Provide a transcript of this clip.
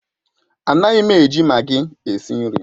Anaghị m eji maggi esi nri.